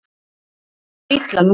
Honum líður illa núna.